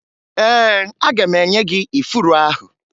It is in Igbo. Ee, aga m enye gị ifuru ahụ